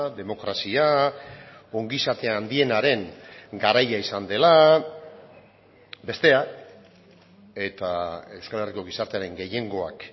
demokrazia ongizate handienaren garaia izan dela bestea eta euskal herriko gizartearen gehiengoak